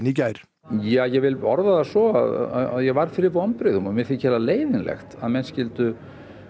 í gær ég vil orða það svo að ég varð fyrir vonbrigðum og mér þykir það leiðinlegt að menn skyldu